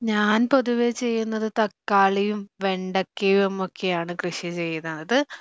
ഞാൻ പൊതുവെ ചെയ്യുന്നത് തക്കാളിയും വെണ്ടക്കയുമൊക്കെയാണ് കൃഷി ചെയ്യുന്നത്